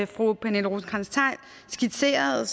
fru pernille rosenkrantz theil skitserede